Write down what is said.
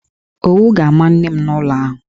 Owu ga-ama nne m n'ụlọ ahụ.